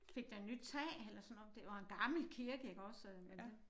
Fik den nyt tag eller sådan noget det var en gammel kirke ikke også men det